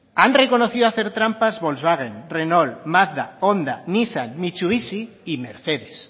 han reconocido hacer trampas volkswagen renault magda honda nissan mitsubishi y mercedes